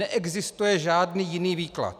Neexistuje žádný jiný výklad.